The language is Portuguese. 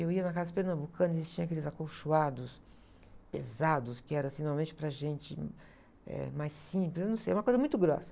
Eu ia na Casas Pernambucanas, existiam aqueles acolchoados pesados, que era, assim, normalmente para gente, hum, eh, mais simples, eu não sei, uma coisa muito grossa.